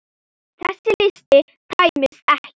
Þessi listi tæmist ekki.